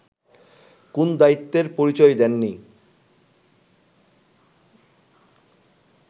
কোন দায়িত্বের পরিচয় দেননি